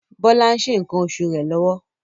Bola ń se nkan osu re lọwọ